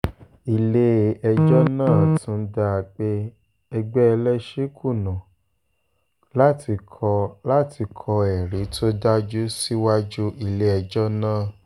ilé-ẹjọ́ náà tún dá a pé ẹgbẹ́ ẹlẹ́sìn kùnà láti kọ́ láti kọ́ ẹ̀rí tó dájú síwájú ilé-ẹjọ́ náà